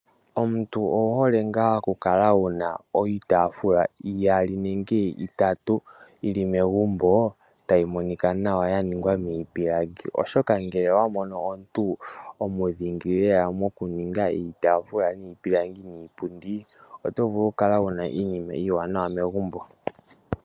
Omuntu owu hole nga okukala wuna iitafula iyali nenge itatu yili megumbo , tayi Monika nawa yaningwa miipilangi oshoka ngele owa mono omuntu omunongo lela mokuninga iitafula niipundi miipilangi oto vulu okukala wuna iinima iiwanawa megumbo.